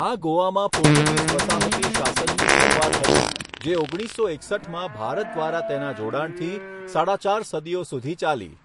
આ ગોવામાં પોર્ટુગીઝ વસાહતી શાસનની શરૂઆત હતી જે ઓગણીસસો એકસઠમાં ભારત દ્વારા તેના જોડાણ સુધી સાડા ચાર સદીઓ સુધી ચાલી.